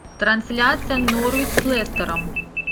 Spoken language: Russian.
трансляция норвич с лестером